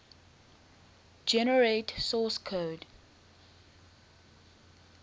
generate source code